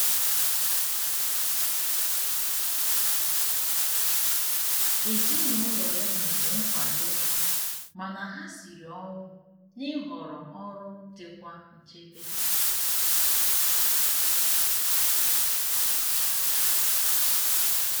Ezinụlọ ya nyere nkwado mana ha siri ọnwụ na-ịhọrọ ọrụ dikwa nchebe.